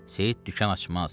Seyid dükan açmaz.